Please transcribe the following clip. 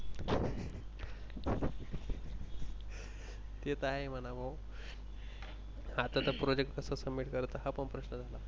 ते त आहे म्हणावं. अता तर Project कस Submit करायचा हा पण प्रश्न झाला.